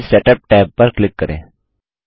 page setup tab पर click करें